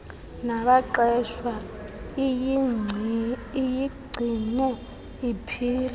nabaqeshwa iyigcine iphila